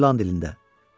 İndi ilan dilində.